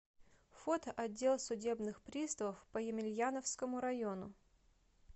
фото отдел судебных приставов по емельяновскому району